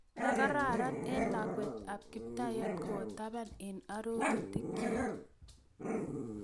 Makararan eng lakwetab kiptaiyat kowa taban ak arorutikyi